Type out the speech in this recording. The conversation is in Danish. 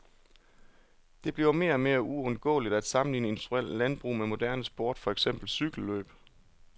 Det bliver mere og mere uundgåeligt at sammenligne industrielt landbrug med moderne sport, for eksempel cykellløb.